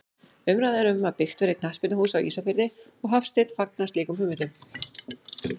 Umræða er um að byggt verði knattspyrnuhús á Ísafirði og Hafsteinn fagnar slíkum hugmyndum.